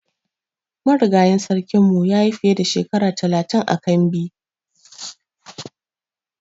Marigayin sarkin mu ya yi fiye da Shekara talatin ã kambi.